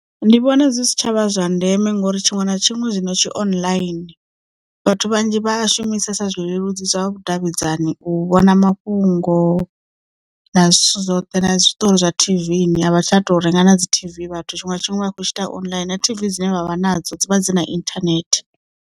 Ndi vhona dzi si tshavha zwa ndeme ngori tshiṅwe na tshiṅwe zwino tshi online vhathu vhanzhi vha a shumisesa zwileludzi zwa vhudavhidzani u vhona mafhungo na zwithu zwoṱhe na zwiṱori zwa T_V ni a vha tsha tou renga na dzi T_V vhathu tshiṅwe na tshiṅwe vha khou tshi ita online na TV dzine vha vha nadzo dzi vha dzi na internet.